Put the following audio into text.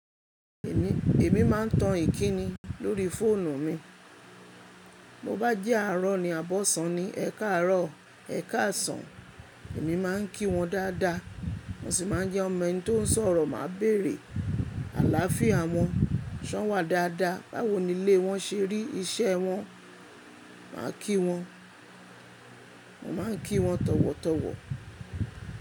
Èmi, èmi máa n tan ìkíni lórí fóònù mi. Bo bá jẹ àárọ̀ ni àbọ̀sán ni, ẹ káàárọ̀, ẹ káàsán, èmi máa ń kí wọn dáadáa. Mo sì máa n jẹ́ on mẹni tó ń sọ̀rọ̀, màá béèrè àlááfíà wọn, ṣọ́n wá dáadáa, báwo nilé wọn ṣe rí iṣẹ́ wọn, màá kí wọn. Mo máa ń kí wọn tọ̀wọ̀tọ̀wọ̀.